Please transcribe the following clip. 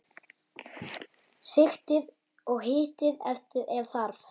Sigtið og hitið ef þarf.